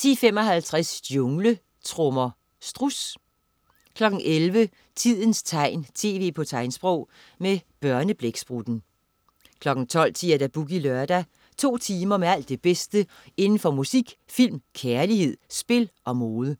10.55 Jungletrommer. Struds 11.00 Tidens tegn, tv på tegnsprog. Med Børneblæksprutten 12.10 Boogie Lørdag. To timer med alt det bedste inden for musik, film, kærlighed, spil og mode